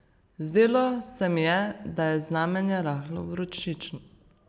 Zdelo se mi je, da je znamenje rahlo vročično.